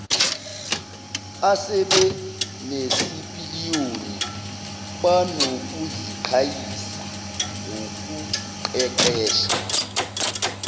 asebenesipiliyoni banokuziqhayisa ngokuqeqesha